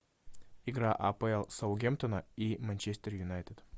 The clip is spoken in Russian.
игра апл саутгемптона и манчестер юнайтед